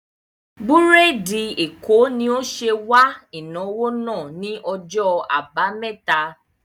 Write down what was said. Búrèdì Èkó ni ó ṣe wà ìnáwó náà ni ọjọ́ àbámẹ́ta